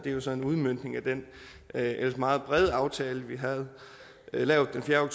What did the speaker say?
er jo så en udmøntning af den ellers meget brede aftale vi havde lavet den fjerde